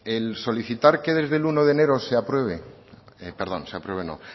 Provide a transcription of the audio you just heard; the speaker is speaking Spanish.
el solicitar que desde el uno de enero